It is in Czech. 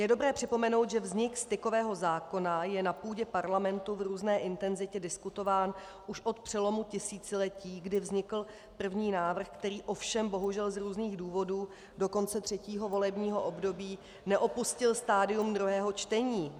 Je dobré připomenout, že vznik stykového zákona je na půdě Parlamentu v různé intenzitě diskutován už od přelomu tisíciletí, kdy vznikl první návrh, který ovšem bohužel z různých důvodů do konce třetího volebního období neopustil stadium druhého čtení.